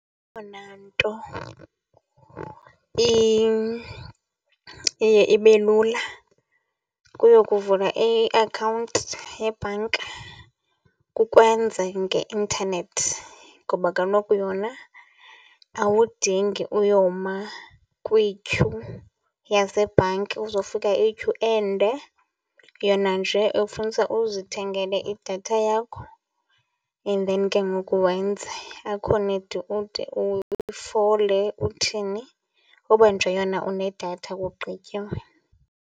Eyona nto iye ibe lula kuyokuvula iakhawunti yebhanki kukwenza ngeintanethi ngoba kaloku yona awudingi uyoma kwityhu yasebhanki, uzofika iyityhu ende. Yona nje ifunisa uzithengele idatha yakho and then ke ngoku wenze, akho need ude ufole uthini. Uba nje yona unedatha kugqitywe.